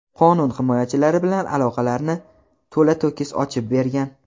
qonun himoyachilari bilan aloqalarini to‘la-to‘kis ochib bergan.